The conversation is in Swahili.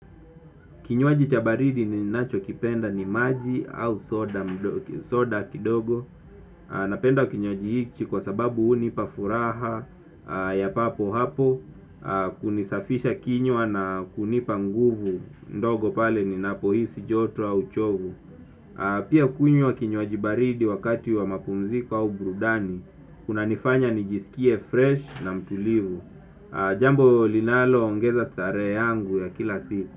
Kinywaji cha baridi ninachokipenda ni maji au soda kidogo. Napenda kinywaji hichi kwa sababu hunipa furaha ya papo hapo hunisafisha kinywa na hunipa nguvu ndogo pale ninapohisi joto au chovu. Pia kunywa kinywaji baridi wakati wa mapumziko au burudani kunanifanya nijisikie fresh na mtulivu. Jambo linaloongeza starehe yangu ya kila siku.